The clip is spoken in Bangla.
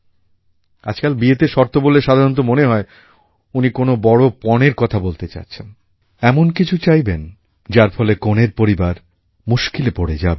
আজকাল বিয়েতে শর্ত বললে সাধারণত মনে হয় উনি কোনও বড়ো পণের কথা বলতে যাচ্ছেন এমন কিছু চাইবেন যার ফলে কনের পরিবার মুশকিলে পড়ে যাবেন